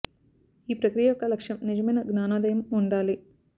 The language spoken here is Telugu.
ఈ ప్రక్రియ యొక్క లక్ష్యం నిజమైన జ్ఞానోదయం ఉండాలి